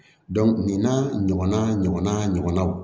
nin n'a ɲɔgɔnna ɲɔgɔna ɲɔgɔnnaw